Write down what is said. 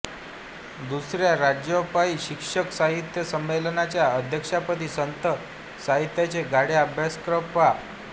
दुसऱ्या राज्यव्यापी शिक्षक साहित्य संमेलनाच्या अध्यक्षपदी संत साहित्याचे गाढे अभ्यासक प्रा